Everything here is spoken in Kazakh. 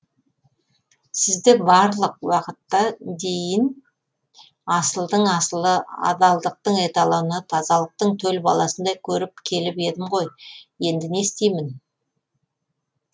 сізді барлық уақытта дейін асылдың асылы адалдықтың эталоны тазалықтың төл баласындай көріп келіп едім ғой енді не істеймін